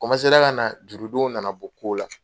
ka na jurudonw nana bɔ ko la